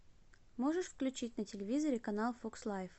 можешь включить на телевизоре канал фокс лайф